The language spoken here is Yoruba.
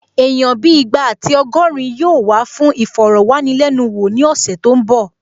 Èèyàn bíi ìgbà àti ọgọ́rin yóò wá fún ìfọ̀rọ̀wánilẹ́nuwò ní ọ̀sẹ̀ tó n bọ̀